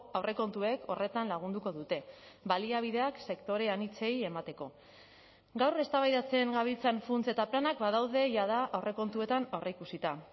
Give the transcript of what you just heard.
aurrekontuek horretan lagunduko dute baliabideak sektore anitzei emateko gaur eztabaidatzen gabiltzan funts eta planak badaude jada aurrekontuetan aurreikusita